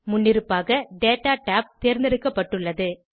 முன்னிருப்பாக data tab தேர்ந்தெடுக்கப்பட்டுள்ளது